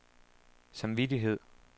samvittighed